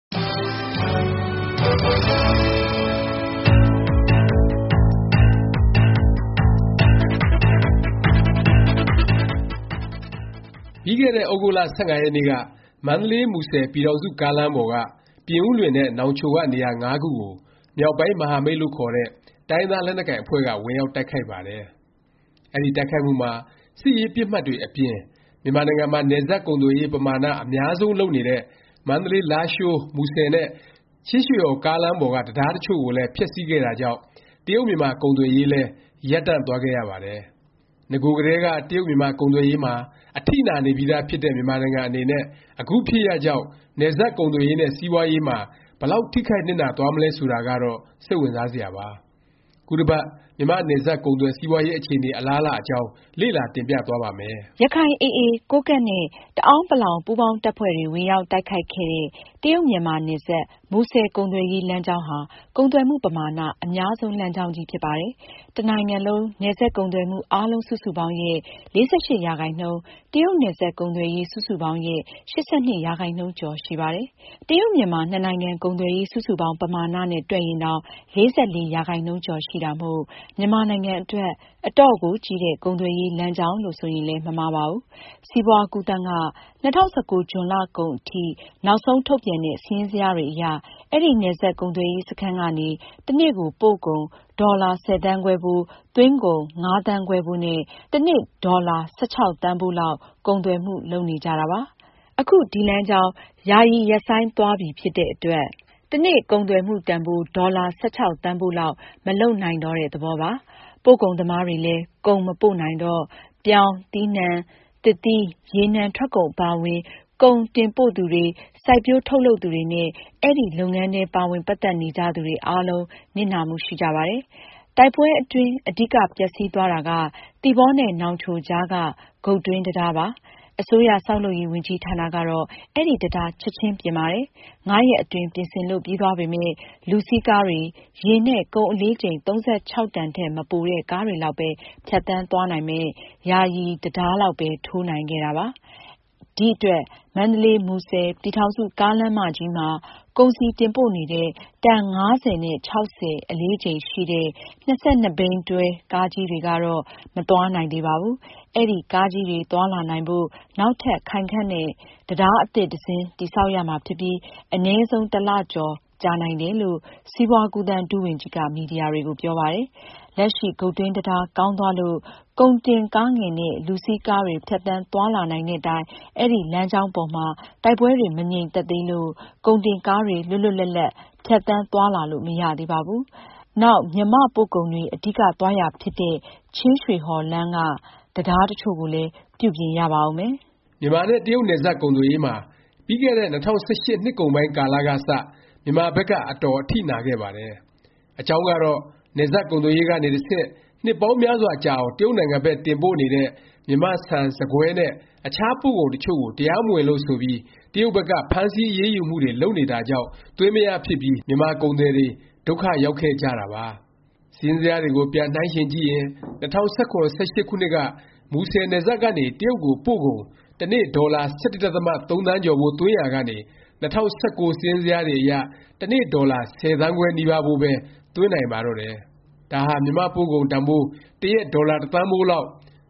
ပြီးခဲ့တဲ့ သြဂုတ်လ ၁၅ ရက်နေ့က မန္တလေး- မူဆယ် ပြည်ထောင်စု ကားလမ်းပေါ်က ပြင်ဦးလွင်နဲ့ နောင်ချို က နေရာ ခုကို မြောက်ပိုင်း မဟာမိတ်လို့ ခေါ်တဲ့ တိုင်းရင်းသား လက်နက်ကိုင်အဖွဲ့က ဝင်ရောက် တိုက်ခိုက်ပါတယ်။ အဲဒီ တိုက်ခိုက်မှုမှာ စစ်ရေးပစ်မှတ်တွေ အပြင် မြန်မာနိုင်ငံမှာ နယ်စပ် ကုန်သွယ်ရေး ပမာဏ အများဆုံး လုပ်နေတဲ့ မန္တလေး -လားရှိုး- မူဆယ် နဲ့ ချင်းရွှေဟော် ကားလမ်းပေါ်က တံတားတစ်ချို့ကိုလည်း ဖျက်ဆီးခဲ့တာကြောင့် တရုတ်- မြန်မာ ကုန်သွယ်ရေးလည်း ရပ်တန့်သွားခဲ့ရပါတယ်။ နဂိုကလည်းက တရုတ်-မြန်မာ ကုန်သွယ်ရေးမှာ အထိနာနေပြီးသားဖြစ်တဲ့ မြန်မာနိုင်ငံအနေနဲ့ အခုဖြစ်ရပ်ကြောင့် နယ်စပ်ကုန်သွယ်ရေးနဲ့ စီးပွားရေးမှာ ဘယ်လောက် ထိခိုက် နစ်နာ သွားမလဲ ဆိုတာကတော့ စိတ်ဝင်စားစရာပါ။ ခုတစ်ပတ် မြန်မာ့ နယ်စပ် ကုန်သွယ် စီးပွားရေး အခြေအနေ အလားအလာအကြောင်း လေ့လာ တင်ပြသွားပါ့မယ်။ အခု ရခိုင် AA, ကိုးကန့် နဲ့ တအဲာန်းပလောင် ပူးပေါင်းတပ်ဖွဲ့တွေ ဝင်ရောက် တိုက်ခိုက်ခဲ့တဲ့ တရုတ်- မြန်မာ နယ်စပ် မူဆယ် ကုန်သွယ်ရေး လမ်းကြောင်းဟာ ကုန်သွယ်မှု ပမာဏ အများဆုံး လမ်းကြောင်းကြီး ဖြစ်ပါတယ်။ တစ်နိုင်ငံလုံး နယ်စပ်ကုန်သွယ်မှု အားလုံး စုစုပေါင်းရဲ့ ၄၈ ရာခိုင်နှုန်း၊ တရုတ်နယ်စပ် ကုန်သွယ်ရေး စုစုပေါင်းရဲ့ ၈၂ ရာခိုင်နှုန်းကျော် ရှိပါတယ်။ တရုတ်-မြန်မာ နှစ်နိုင်ငံ ကုန်သွယ်ရေး စုစုပေါင်း ပမာဏ နဲ့ တွက်ရင်တောင် ၄၄ ရာခိုင်နှုန်းကျော် ရှိတာမို့ မြန်မာနိုင်ငံ အတွက် အတော့်ကို ကြီးတဲ့ ကုန်သွယ်ရေး လမ်းကြောင်းလို့ ဆိုရင်လည်း မမှားပါဘူး။ စီးပွား- ကူးသန်းက ၂၀၁၉ ဇွန်လ ကုန်အထိ နောက်ဆုံး ထုတ်ပြန်ခဲ့တဲ့ စာရင်းဇယားတွေအရ အဲဒီ နယ်စပ် ကုန်သွယ်ရေး စခန်းကနေ တစ်နေ့ကို ပို့ကုန် - ဒေါ်လာ ၁၀သန်းခွဲဖိုး၊ သွင်းကုန် ၅ သန်းခွဲဖိုး နဲ့ တစ်နေ့ ဒေါ်လာ ၁၆ သန်းဖိုးလောက် ကုန်သွယ်မှု လုပ်နေကြတာပါ။ အခု ဒီ လမ်းကြောင်း ယာယီ ရပ်ဆိုင်းသွားပြီဖြစ်တဲ့အတွက် တစ်နေ့ ကုန်သွယ်မှုတန်ဘိုး ဒေါ်လာ ၁၆ သန်းဖိုးလောက် မလုပ်နိုင်တော့တဲ့ သဘောပါ။ ပို့ကုန်သမားတွေလည်း ကုန်မပို့နိုင်တော့ ပြောင်း၊ သစ်သီး သစ်နှံ၊ ရေထွက်ကုန် အပါအဝင် ကုန်တင်ပို့သူတွေ၊ စိုက်ပျိုးထုတ်လုပ်သူတွေနဲ့ အဲဒီ လုပ်ငန်းထဲ ပါဝင် ပတ်သက်နေကြသူတွေအားလုံး နစ်နာမှု ရှိကြပါတယ်။ တိုက်ပွဲအတွင်း အဓိက ပျက်စီးသွားတာက သီပေါနဲ့ နောင်ချိုကြားက ဂုတ်တွင်းတံတားပါ။ အစိုးရ ဆောက်လုပ်ရေး ဝန်ကြီးဌာနကတော့ အဲဒီတံတား ချက်ခြင်းပြင်ပါတယ်။ ၅ ရက်အတွင်း ပြင်ဆင်လို့ ပြီးသွားပေမယ့် လူစီးကားတွေ၊ ယာဉ်နဲ့ ကုန် အလေးချိန် ၃၆ တန်ထက် မပိုတဲ့ ကားတွေလောက်ပဲ ဖြတ်သန်းသွားနိုင်မယ့် ယာယီ ဘေလီတံတားလောက်ပဲ ထိုးနိုင်ခဲ့တာပါ။ ဒီအတွက် မန္တလေး - မူဆယ် ပြည်ထောင်စု ကားလမ်းကြီးမှာ ကုန်စည်တင်ပို့နေတဲ့ တန် ၅၀-၆၀ အလေးချိန်ရှိတဲ့ ၂၂ ဘီး တွဲကားကြီးတွေကတော့ မသွားနိုင်သေးပါဘူး။ အဲဒီ ကားကြီးတွေ သွားလာနိုင်ဖို့ နောက်ထပ် ခိုင်ခံ့တဲ့ တံတားအသစ် တစ်စင်း တည်ဆောက်ရမှာဖြစ်ပြီး အနည်းဆုံး တစ်လကျော် ကြာနိုင်တယ်လို့ စီးပွား- ကူးသန်း ဒုဝန်ကြီးက မီဒီယာတွေကို ပြောပါတယ်။ လက်ရှိ ဂုတ်တွင်းတံတား ကောင်းသွားလို့ ကုန်တင်ကားငယ်နဲ့ လူစီးကားတွေ ဖြတ်သန်းသွားလာနိုင်တဲ့တိုင် အဲဒီ လမ်းကြောင်းပေါ်မှာ တိုက်ပွဲတွေ မငြိမ်သက်သေးလို့ ကုန်တင်ကားတွေ လွတ်လွတ်လပ်လပ် ဖြတ်သန်းသွားလာလို့ မရသေးပါဘူး။ နောက် မြန်မာ့ ပို့ကုန်တွေ အဓိက သွားရာဖြစ်တဲ့ ချင်းရွှေဟော်လမ်းက တံတား တစ်ချို့ကိုလည်း ပြုပြင်ရပါဦးမယ်။ မြန်မာ နဲ့ တရုတ် နယ်စပ် ကုန်သွယ်ရေးမှာ ပြီးခဲ့တဲ့ ၂၀၁၈ နှစ်ကုန်ပိုင်း ကာလက စ မြန်မာဘက်က အတော်အထိနာခဲ့ပါတယ်။ အကြောင်းကတော့ နယ်စပ်ကုန်သွယ်ရေးကနေ တဆင့် နှစ်ပေါင်းများစွာ ကြာအောင် တရုတ်နိုင်ငံဘက် တင်ပို့နေတဲ့ မြန်မာ့ဆန်၊ ဆန်ကွဲနဲ့ အခြား ပို့ကုန် တစ်ချို့ကို တရားမဝင်လို့ ဆိုပြီး တရုတ်ဘက်က ဖမ်းဆီး အရေးယူမှုတွေ လုပ်နေတာကြောင့် သွင်းမရဖြစ်ပြီး မြန်မာ ကုန်သည်တွေ ဒုက္ခရောက်ခဲ့ကြတာပါ။ စာရင်းဇယားတွေကို ပြန်နှိုင်းယှဉ်ကြည့်ရင် ၂၀၁၇- ၁၈ ခုနှစ်က မူဆယ်နယ်စပ်ကနေ တရုတ်ကို ပို့ကုန် တစ်နေ့ ဒေါ်လာ ၁၁ ဒသမ ၃ သန်းကျော်ဖိုး သွင်းနေရာကနေ ၂၀၁၉ စာရင်းဇယားတွေအရ တစ်နေ့ ဒေါ်လာ ၁၀ သန်းခွဲ နီးပါးဖိုးပဲ သွင်းနိုင်ပါတော့တယ်။ ဒါဟာ မြန်မာ့ပို့ကုန်တန်ဘိုး တစ်ရက် ဒေါ်လာ တစ်သန်းဖိုးလောက်